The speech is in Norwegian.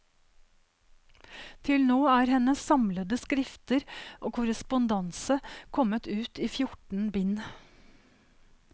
Til nå er hennes samlede skrifter og korrespondanse kommet ut i fjorten bind.